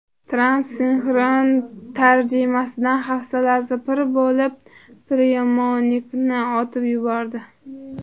Tramp sinxron tarjimadan hafsalasi pir bo‘lib, priyomnikni otib yubordi .